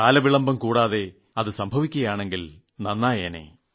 കാലവിളംബം കൂടാതെ അത് സംഭവിക്കുമെങ്കിൽ നന്നായേനെ